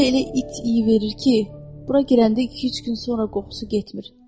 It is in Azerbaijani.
Özü də elə it iy verir ki, bura girəndə iki-üç gün sonra qoxusu getmir.